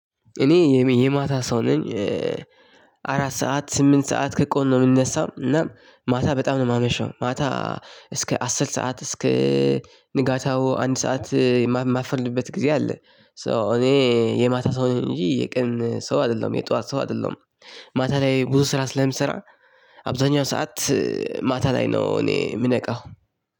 እኔ የማታ ሰው ነኝ። አራት ሰዓት ስምንት ሰዓት ከቀኑ ነው የምነሳው እና ማታ በጣም ነው የማመሸው ማታ። እስከ አስር ሰዓት እስከ ንጋቱ አንድ ሰዓት የማልተኛበት ጊዜ አለ። ሶ እኔ የማታ ሰው ነኝ እንጂ የቀን ሰው አይደለሁም የጧት ሰው አይደለሁም። ማታ ላይ ብዙ ስራ ስለምሰራ አብዛኛው ሰዓት። ማታ ላይ ነው እኔ የምነቃው